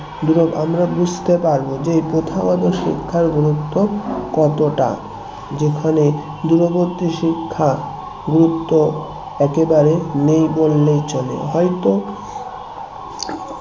আমরা বুঝতে পারবো যে প্রথাগত শিক্ষার গুরুত্ব কতটা যেখানে দূরবর্তী শিক্ষা গুরুত্ব একেবারে নেই বললেই চলে হয়তো